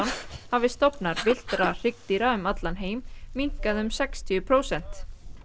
hafi stofnar villtra hryggdýra um allan heim minnkað um sextíu prósent